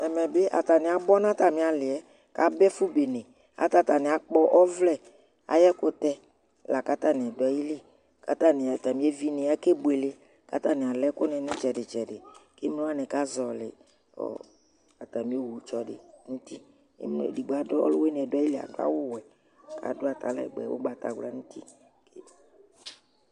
Ɛmɛ ɓɩ ataŋɩ aɓɔ ŋʊ atamɩ alɩɛ kaɓa ɛfʊɓene kataŋɩ aƙpɔ ɔʋlɛ aƴɛkʊtɛ lakataŋɩ dʊ aƴɩlɩ Kataŋɩ natamɩ eʋɩŋɩ akebʊele, kataŋɩ alɛ ɛƙʊ ŋɩ ŋɩtsɛdɩ ŋɩtsɛdɩ kemlowani ka zɔlɩ ztamɩ owʊ tsɔdɩ ŋʊ ʊtɩ Ɔlʊwʊɩŋɩ ŋʊ ayɩlɩ adʊ awʊ wɛ kadʊ atalɛgbɛ ʊgbatawla ŋʊ ʊtɩ